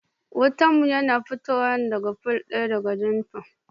Wutan mu yana fitowa daga fol ɗaya da Jenifer.